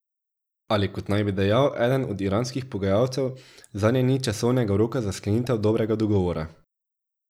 Ali kot naj bi dejal eden od iranskih pogajalcev, zanje ni časovnega roka za sklenitev dobrega dogovora.